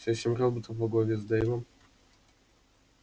все семь роботов во главе с дейвом